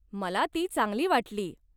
मला ती चांगली वाटली.